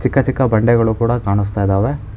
ಚಿಕ್ಕ ಚಿಕ್ಕ ಬಂಡೆಗಳು ಕೂಡ ಕಾಣುಸ್ತಿದಾವೆ.